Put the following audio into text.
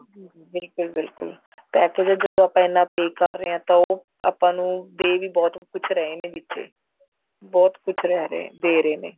ਹਮ ਬਿਲਕੁਲ ਬਿਲਕੁਲ package ਜਦੋਂ ਆਪਾਂ ਇੰਨਾ pay ਕਰ ਰਹੇ ਹਾਂ ਤਾਂ ਉਹ ਆਪਾਂ ਨੂੰ ਦੇ ਵੀ ਬਹੁਤ ਕੁੱਝ ਰਹੇ ਨੇ ਵਿੱਚ ਬਹੁਤ ਕੁੱਝ ਦੇ ਰਹੇ ਨੇ